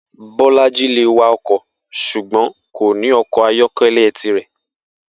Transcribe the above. Bó̩lájí lè wa o̩kò̩ s̩ùgbó̩n kò ní o̩kò̩ ayó̩ké̩lé̩ tirè̩